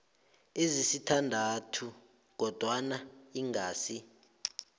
ezisithandathu kodwana ingasi